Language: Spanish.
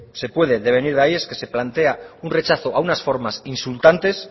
se puede devenir de ahí es un rechazo a unas formas insultantes